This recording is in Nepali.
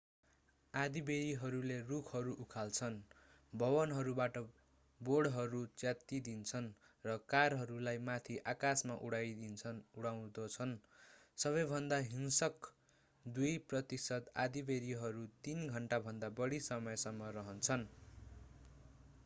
आँधीबेहरीहरूले रूखहरू उखाल्छन् भवनहरूबाट बोर्डहरू च्यातिदिन्छन् र कारहरूलाई माथि आकाशमा उडाउँदछन् सबैभन्दा हिंस्रक दुई प्रतिशत आँधीबेहरीहरू तीन घण्टा भन्दा बढी समयसम्म रहन्छन्